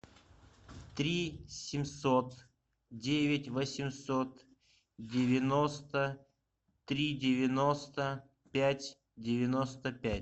три семьсот девять восемьсот девяносто три девяносто пять девяносто пять